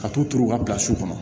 Ka t'u turu u ka kɔnɔ